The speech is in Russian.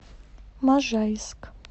можайск